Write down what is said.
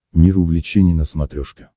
мир увлечений на смотрешке